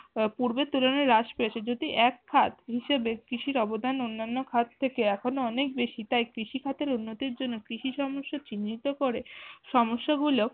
পূর্বের তুলনায় হ্রাস পেশি যদি এক ভাগ হিসেবে কৃষির অবদান অন্যান্য খাত থেকে এখন ও অনেক বেশি তাই কৃষি খাতের উন্নতির জন্য কৃষি সমস্যা চিহ্নিত করে সমস্যা গুলো